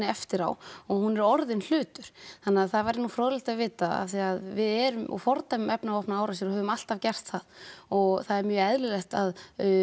eftir á og hún er orðinn hlutur þannig að það væri nú fróðlegt að vita af því að við erum og fordæmum efnavopnaárásir og höfum alltaf gert það og það er mjög eðlilegt að